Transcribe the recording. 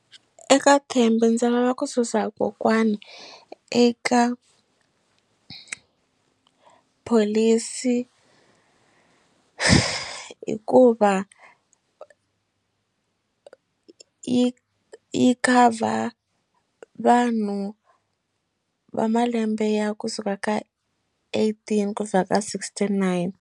Eka Thembi ndzi lava ku susa kokwana eka pholisi hikuva yi yi cover vanhu va malembe ya kusuka ka eighteen ku fika ka sixty nine.